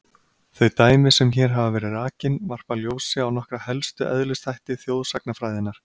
Þau dæmi sem hér hafa verið rakin varpa ljósi á nokkra helstu eðlisþætti þjóðsagnafræðinnar.